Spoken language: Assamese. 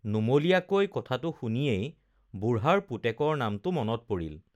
নুমলীয়াকৈ কথাটো শুনিয়েই বুঢ়াৰ পুতেকৰ নামটো মনত পৰিল